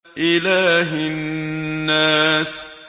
إِلَٰهِ النَّاسِ